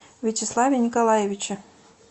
вячеславе николаевиче